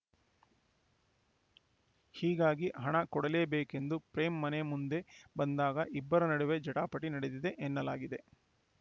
ಹೀಗಾಗಿ ಹಣ ಕೊಡಲೇಬೇಕೆಂದು ಪ್ರೇಮ್‌ ಮನೆ ಮುಂದೆ ಬಂದಾಗ ಇಬ್ಬರ ನಡುವೆ ಜಟಾಪಟಿ ನಡೆದಿದೆ ಎನ್ನಲಾಗಿದೆ